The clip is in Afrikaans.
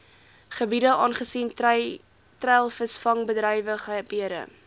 gebiede aangesien treilvisvangbedrywighede